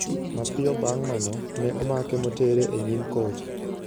Mapiyo bang' mano, ne omake motere e nyim kot.